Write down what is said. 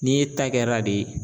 N'i ta kɛra de.